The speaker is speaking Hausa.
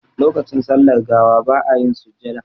Lokacin sallar gawa ba a yin sujjada.